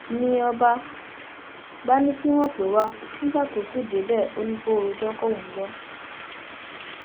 ni ọba bá ní kí wọn pè é wá nígbà tó ṣì débẹ ó ní kó rojọ kóun gbọ